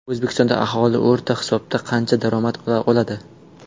O‘zbekistonda aholi o‘rta hisobda qancha daromad oladi?.